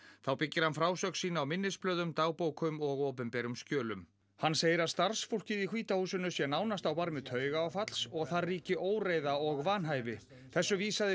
þá byggir hann frásögn sína á minnisblöðum dagbókum og opinberum skjölum hann segir að starfsfólkið í hvíta húsinu sé nánast á barmi taugaáfalls og þar ríki óreiða og vanhæfi þessu vísaði